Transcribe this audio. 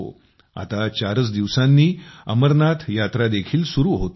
आता चारच दिवसांनी अमरनाथ यात्रा देखील सुरु होते आहे